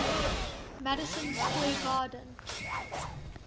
madison square garden